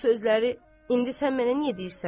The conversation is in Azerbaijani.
Bu sözləri indi sən mənə niyə deyirsən?